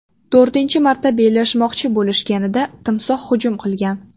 To‘rtinchi marta bellashmoqchi bo‘lishganida timsoh hujum qilgan.